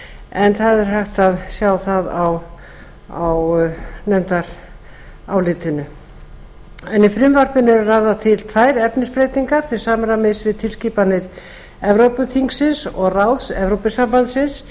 en það er hægt að sjá það á nefndarálitinu í frumvarpinu eru lagðar til tvær efnisbreytingar til samræmis við tilskipanir evrópuþingsins og ráðs evrópusambandsins